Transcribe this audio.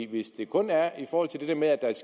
hvis det kun er i forhold til det her med at der er